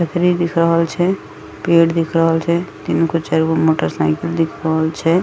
चकड़ी दिख रहल छै पेड़ दिख रहल छै तीनगो चारगो मोटरसाइकिल दिख रहल छै ।